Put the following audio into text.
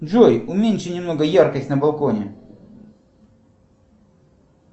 джой уменьши немного яркость на балконе